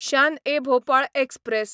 Shaan e Bhopal express